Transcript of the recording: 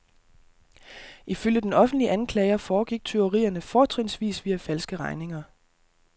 Ifølge den offentlige anklager foregik tyverierne fortrinsvis via falske regninger.